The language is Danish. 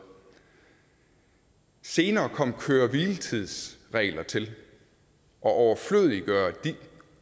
senere kom køre hvile tids regler til og